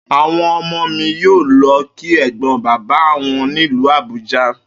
Àwo̩n o̩mo̩ mi yóò lo̩ kí è̩gbó̩n bàbá wo̩n nílùú Àbúja